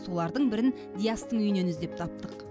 солардың бірін диастың үйінен іздеп таптық